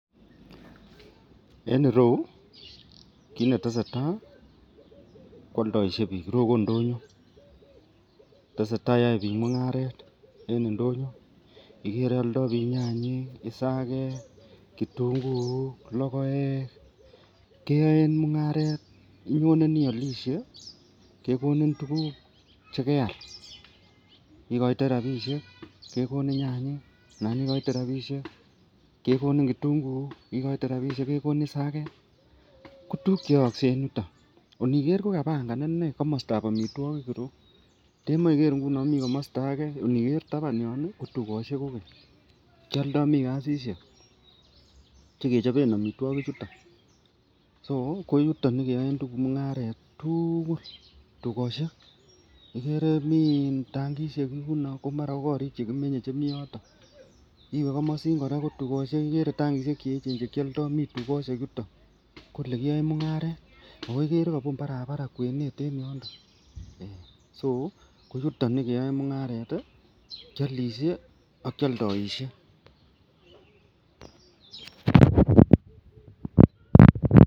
En irou kit netesetai kwoldoishe bik irou ko ndonyo tesetai yoe bik mungaret en indonyo, ikere oldo bik nyanyik, isake, kitunguuk, lokoek keyoen mungaret. Inyone iolishe kekonin tukuk chekeal ikoitoi rabishek kekonin nyanyik anan ikoite rabishek kekonin kitunguuk, ikoite rabishek kekonin isake ko tukuk cheyoose en yuton. Iniker ko kapanga inee komostab omitwokik iroyuu ndemoi ikere inguni mii komosto age inikere taban yon nii ko tukoshek kokeny kiolda mii kasishek chekechoben omitwokik chuton, so ko yuton yekeyoen mungaret tuukul tukoshek ikere mii tankishek yuno ko mara ko korik chekimenye chemii yoton iwee komosin Koraa ko tukoshek ikere tankishek cheyechen chekioldo mii tukoshek yoton . Ko olekiyoe mungaret ako ikere kobun barbara kwenet en yondon so ko yuton yekeyoen mungaret tii kiolishe ak kioldoishe.